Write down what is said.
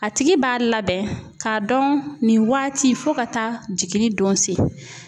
A tigi b'a labɛn ka dɔn nin waati fo ka taa jiginni don se